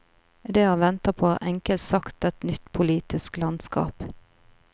Det han venter på, er enkelt sagt et nytt politisk landskap.